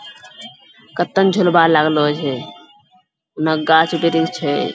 कत्तन झुलबा लागलो छै होन्ने गाछ-वृक्ष छै।